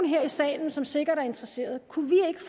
her i salen som sikkert er interesseret